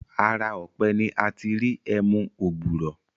Ara ọ̀pẹ ni a ti ń ri ẹmu ògbùrọ̀